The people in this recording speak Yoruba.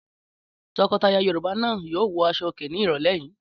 Tọkọtaya Yorùbá náà yóò wọ aṣọòkè ní ìrọ́lẹ́ yìí.